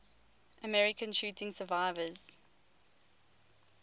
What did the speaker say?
american shooting survivors